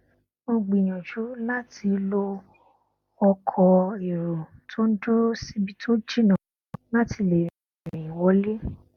mo gbìyànjú láti lo ọkọ èrò tó n dúró síbi tó jìnnà láti lè rin ìrìn wọlé